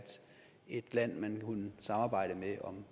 et land man kunne samarbejde med om